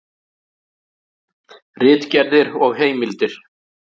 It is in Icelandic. Ritgerðir og heimildir.